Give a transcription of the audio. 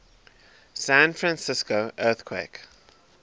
san francisco earthquake